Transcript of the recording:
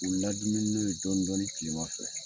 U ladumuni dɔɔni dɔɔni kilema fɛ.